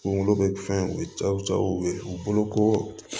Kungolo bɛ fɛn o cɛw jaw ye u bolo ko